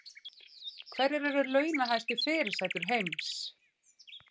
Hverjar eru launahæstu fyrirsætur heims